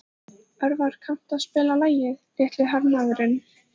Örvar, kanntu að spila lagið „Litli hermaðurinn“?